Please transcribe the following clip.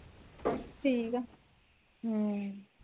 ਠੀਕ ਆ ਹਮ